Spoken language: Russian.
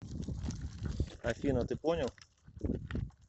афина ты понял